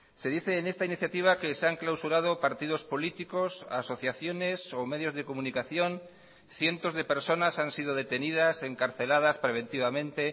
se dice en esta iniciativa que se han clausurado partidos políticos asociaciones o medios de comunicación cientos de personas han sido detenidas encarceladas preventivamente